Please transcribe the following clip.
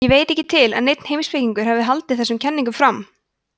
ég veit ekki til að neinn heimspekingur hafi haldið þessum kenningum fram